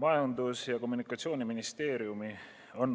Majandus- ja Kommunikatsiooniministeerium